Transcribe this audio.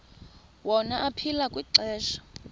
wona aphila kwixesha